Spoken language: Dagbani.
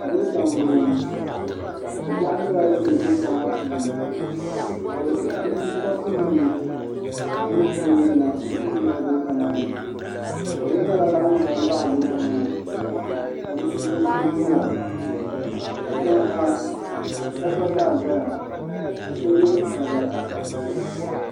Goota n bɔŋo kobɛɣu nyɛla din bɛ goota maa puuni ka bi pi papu nim duri puuni yina n ti niŋ goota maa ni bihi nyɛla ban za n baɣa goota maa ka bi puuni so guura katiŋ ha shɛba gba zaa zaya ka so yɛ zabba.